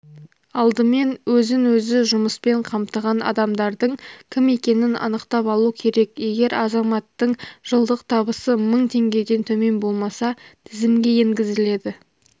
алдымен өзін өзі жұмыспен қамтыған адамдардың кім екенін анықтап алу керек егер азаматтың жылдық табысы мың теңгеден төмен болмаса тізімге енгізіледі